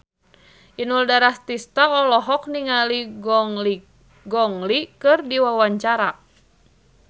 Inul Daratista olohok ningali Gong Li keur diwawancara